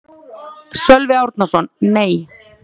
Sölvi Árnason: Nei.